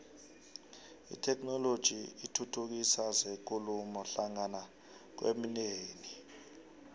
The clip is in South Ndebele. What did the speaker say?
itheknoloji ithuthukisa zekulumo hlangana kwemindeni